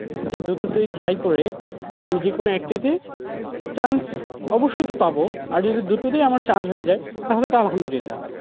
যে দুটোতেই try করে আমি যেকোন একটিতে chance অবশ্যই তো পাবো, আর যদি দুটোতেই আমার chance হয়ে যায় তাহলে তো আলহামদুলিলা।